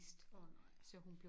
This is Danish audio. Åh nej